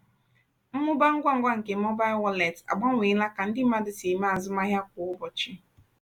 mmụba ngwa ngwa nke mobail wọleetị agbanweela ka ndị mmadụ si eme azụmahịa kwa ụbọchị